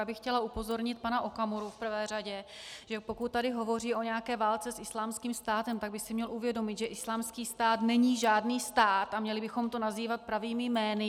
Já bych chtěla upozornit pana Okamuru v prvé řadě, že pokud tady hovoří o nějaké válce s Islámským státem, tak by si měl uvědomit, že Islámský stát není žádný stát a měli bychom to nazývat pravými jmény.